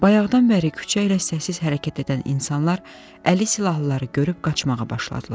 Bayaqdan bəri küçə ilə səssiz hərəkət edən insanlar əli silahlıları görüb qaçmağa başladılar.